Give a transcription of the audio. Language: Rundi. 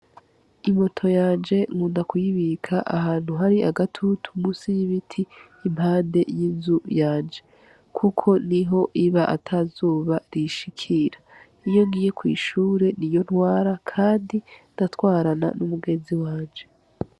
Imoto yanje nkunda kuyibika ahantu hari agatutu musi y'ibiti impande y' inzu yanje kuko niho aba atazuba iyishikira iyo ngiye kw'ishure niyo ntwara kandi nkatwarana n' umugenzi wanje.